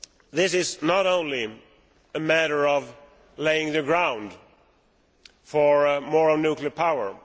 This is not only a matter of preparing the ground for more nuclear power.